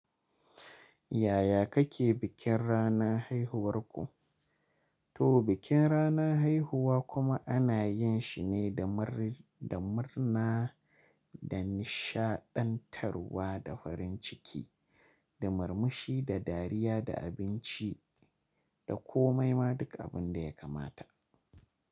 Yaya kake bikin ranar haihuwarku? To bikin rana haihuwa kuma ana yin shi ne da murna, da nishaɗantarwa, da farin ciki, da murmushi, da dariya, da abinci, da komai ma duk abin da ya kamata.